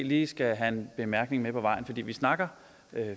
lige skal have en bemærkning med på vejen for vi snakker